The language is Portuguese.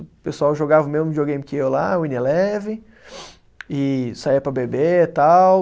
O pessoal jogava o mesmo videogame que eu lá, Winning Eleven, e saía para beber, tal.